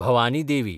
Bhavani Devi